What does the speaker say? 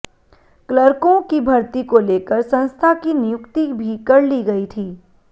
क्लर्कों की भर्ती को लेकर संस्था की नियुक्ति भी कर ली गई थी